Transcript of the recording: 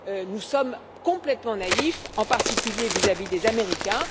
Nous sommes complètement naïfs, en particulier vis à vis des Américains.